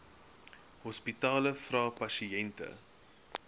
hospitale vra pasiënte